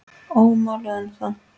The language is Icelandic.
Ómáluð ennþá.